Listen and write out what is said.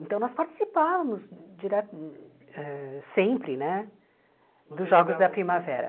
Então, nós participávamos direto eh sempre né dos Jogos da Primavera.